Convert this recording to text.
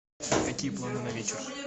какие планы на вечер